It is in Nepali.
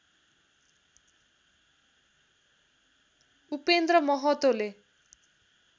उपेन्द्र महतोले